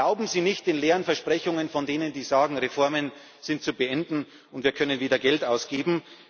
Glauben Sie nicht den leeren Versprechungen von denen, die sagen Reformen sind zu beenden, und wir können wieder Geld ausgeben.